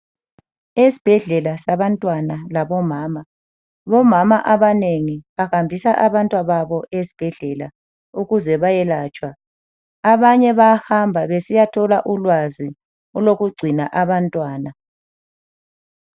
Esbhedlela sabantwana labo mama, bomama abanengi bahambisa abantwababo esbhedlela ukuze bayelatshwa. Abanye bayahamba besiyathola ulwazi olokugcina abantwana.